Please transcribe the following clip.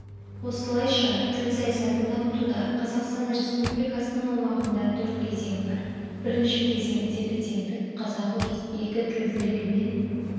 осылайша тіл саясатын дамытуда қазақстан республикасының аумағында төрт кезең бар бірінші кезең тепе-теңдік қазақ-орыс екі тілділігімен